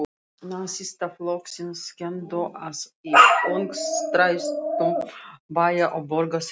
Nasistaflokksins kenndu, að í öngstrætum bæja og borga þrifust